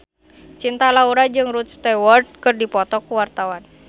Cinta Laura jeung Rod Stewart keur dipoto ku wartawan